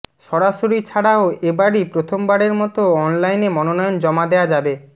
সরাসরি ছাড়াও এবারই প্রথমবারের মতো অনলাইনে মনোনয়ন জমা দেয়া যাবে